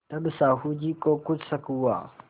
तब साहु जी को कुछ शक हुआ